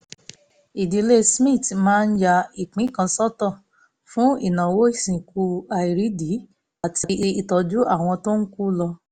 ìdílé smith máa ń ya ìpín kan sọ́tọ̀ fún ìnáwó ìsìnkú àìrídìí àti ìtọ́jú àwọn tó ń kú lọ